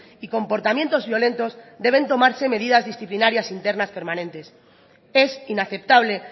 y comportamientos violentos deben tomarse medidas disciplinarias internas permanentes es inaceptable